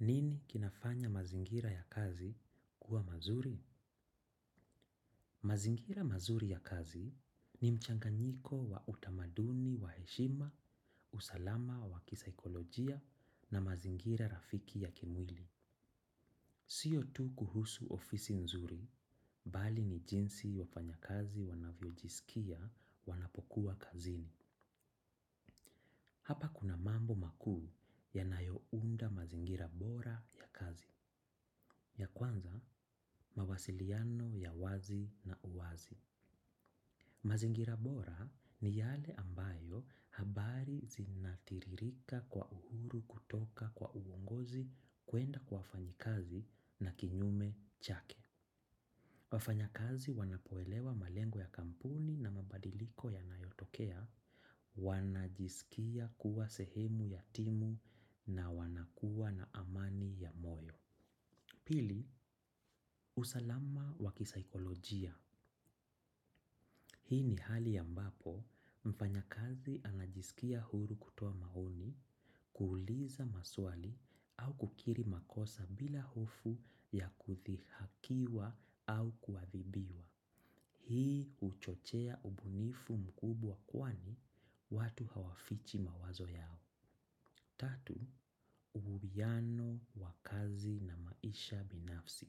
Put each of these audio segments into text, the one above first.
Nini kinafanya mazingira ya kazi kuwa mazuri? Mazingira mazuri ya kazi ni mchanganyiko wa utamaduni wa heshima usalama wa kisaikolojia na mazingira rafiki ya kimwili. Sio tu kuhusu ofisi nzuri, bali ni jinsi wafanyakazi wanavyo jisikia wanapokuwa kazini. Hapa kuna mambo makuu yanayo unda mazingira bora ya kazi. Ya kwanza, mawasiliano ya wazi na uwazi. Mazingira bora ni yale ambayo habari zinatiririka kwa uhuru kutoka kwa uongozi kuenda kwa wafanyikazi na kinyume chake. Wafanya kazi wanapoelewa malengo ya kampuni na mabadiliko ya nayotokea, wanajisikia kuwa sehemu ya timu na wanakua na amani ya moyo. Pili, usalama wakisaikolojia. Hii ni hali ambapo mfanya kazi anajisikia huru kutoa maoni, kuuliza maswali au kukiri makosa bila hofu ya kuthihakiwa au kuadhibiwa. Hii huchochea ubunifu mkubwa kwani watu hawafichi mawazo yao. Tatu, uhuwiano wa kazi na maisha binafsi.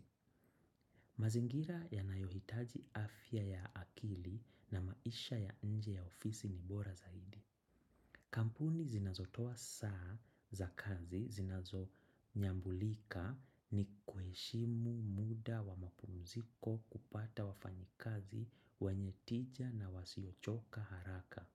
Mazingira yanayohitaji afya ya akili na maisha ya nje ya ofisi ni bora zaidi. Kampuni zinazotoa saa za kazi zinazo nyambulika ni kuheshimu muda wa mapumziko kupata wafanyi kazi wanye tija na wasiochoka haraka.